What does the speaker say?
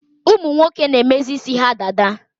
Ụmụnwoke na-emezi isi ha dada